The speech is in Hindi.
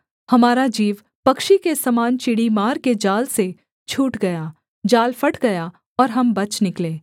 हमारा जीव पक्षी के समान चिड़ीमार के जाल से छूट गया जाल फट गया और हम बच निकले